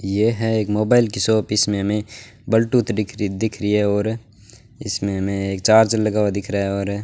यह एक मोबाइल की शॉप इसमें हमें बल्टूथ दिख री दिख रही है और इसमें हमें एक चार्जर लगा हुआ दिख रहा है और --